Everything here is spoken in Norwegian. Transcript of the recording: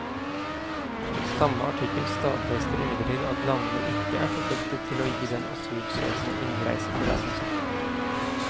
Samme artikkel stadfester imidlertid at landene ikke er forpliktet til å gi den asylsøkende innreisetillatelse.